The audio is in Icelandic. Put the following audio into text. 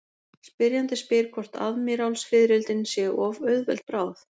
Spyrjandi spyr hvort aðmírálsfiðrildin séu of auðveld bráð.